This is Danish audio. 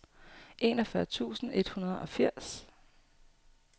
enogfyrre tusind et hundrede og firs